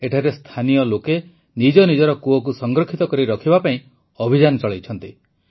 ଏଠାରେ ସ୍ଥାନୀୟ ଲୋକ ନିଜ ନିଜର କୂଅକୁ ସଂରକ୍ଷିତ କରି ରଖିବା ପାଇଁ ଅଭିଯାନ ଚଳାଇଛନ୍ତି